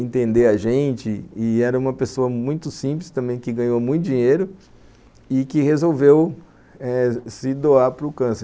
entender a gente e era uma pessoa muito simples também que ganhou muito dinheiro e que resolveu eh se doar para o câncer.